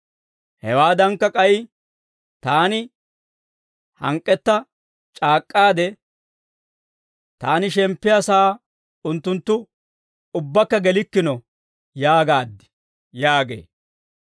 Hewaadankka k'ay, taani hank'k'etta c'aak'k'aade, ‹Taani shemppiyaa sa'aa unttunttu, ubbakka gelikkino› yaagaad» yaagee.